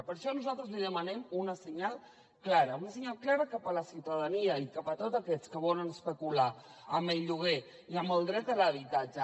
per això nosaltres li demanem un senyal clar un senyal clar cap a la ciutadania i cap a tots aquells que volen especular amb el lloguer i amb el dret a l’habitatge